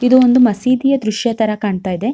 ಇದು ಒಂದು ಮಸೀದಿಯ ದೃಶ್ಯ ತರ ಕಾಣ್ತಾ ಇದೆ .